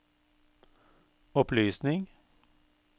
opplysning